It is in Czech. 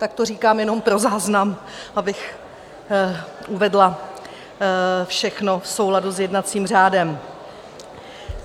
Tak to říkám jenom pro záznam, abych uvedla všechno v souladu s jednacím řádem.